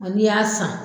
Ɔ n'i y'a san